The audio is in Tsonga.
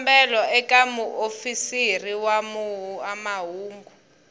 xikombelo eka muofisiri wa mahungu